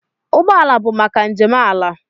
Ụgbọ ala bụ maka njem ala.